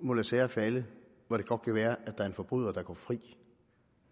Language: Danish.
må lade sager falde hvor det godt kan være at der er en forbryder der går fri